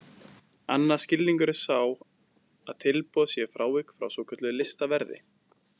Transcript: Annar skilningur er sá að tilboð sé frávik frá svokölluðu listaverði.